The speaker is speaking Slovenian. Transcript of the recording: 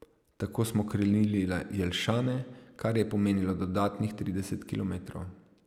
Tako smo krenili na Jelšane, kar je pomenilo dodatnih trideset kilometrov.